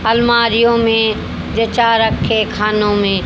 अलमारियों में जचा रखे खानो में--